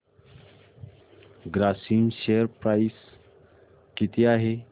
Grasim share price किती आहे